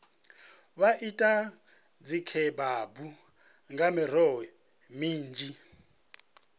vha ite dzikhebabu nga miroho minzhi